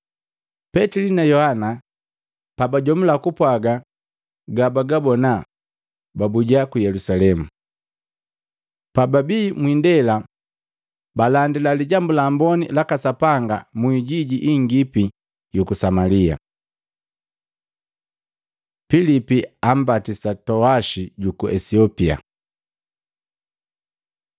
Petili na Yohana pabajomula kupwaga gabagabona babuja ku Yelusalemu. Pababii mwindela balandila Lijambu la Amboni laka Sapanga mu ijiji ingipi yuku Samalia. Pilipu ambatisa Towashi juku Esiopia